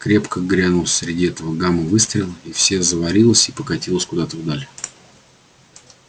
крепко грянул среди этого гама выстрел и все заварилось и покатилось куда-то вдаль